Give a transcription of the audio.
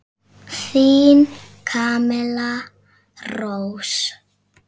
Þín Camilla Rós.